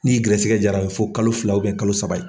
N'i gɛrɛsɛgɛ jara ye a bɛ fɔ kalo fila kalo saba ye.